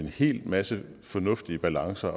hel masse fornuftige balancer